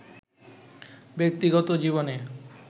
ব্যক্তিগত জীবনে